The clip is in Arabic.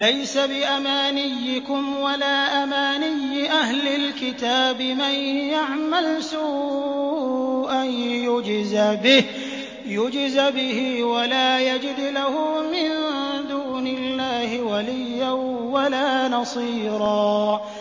لَّيْسَ بِأَمَانِيِّكُمْ وَلَا أَمَانِيِّ أَهْلِ الْكِتَابِ ۗ مَن يَعْمَلْ سُوءًا يُجْزَ بِهِ وَلَا يَجِدْ لَهُ مِن دُونِ اللَّهِ وَلِيًّا وَلَا نَصِيرًا